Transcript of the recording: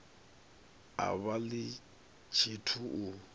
a vha ḽi tshithu u